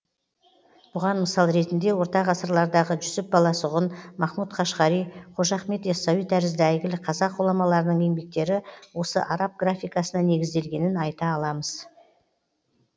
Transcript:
бұған мысал ретінде орта ғасырлардағы жүсіп баласағұн махмут қашғари қожа ахмет ясауи тәрізді әйгілі қазақ ғұламаларының еңбектері осы араб графикасына негізделгенін айта аламыз